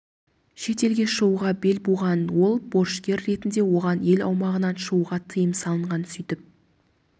шет елге шығуға бел буған ол борышкер ретінде оған ел аумағынан шығуға тыйым салынған сөйтіп